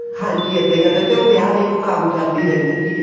ਹਾਂਜੀ ਇੱਦਾਂ ਹੀ ਕਰਦੇ ਤੇ ਉਹ ਵਿਆਹ ਵੇਖੋ ਕ਼ਾਮਯਾਬ ਵੀ ਰਹਿੰਦੇ ਸੀਗੇ